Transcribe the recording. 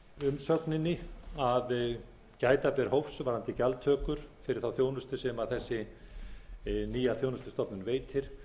umsögninni að gæta ber hófs varðandi gjaldtökur fyrir þá þjónustu sem þessi nýja þjónustustofnun veitir